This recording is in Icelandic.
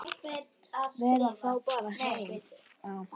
Vera þá bara heima?